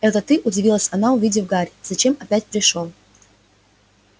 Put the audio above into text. это ты удивилась она увидев гарри зачем опять пришёл